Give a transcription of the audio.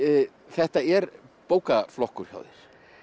þetta er bókaflokkur hjá þér